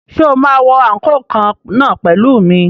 Ṣé o máa wọ àǹkóò kan náà pẹ̀lú mi?